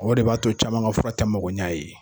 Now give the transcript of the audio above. O de b'a to caman ka fura tɛ mago ɲan a ye.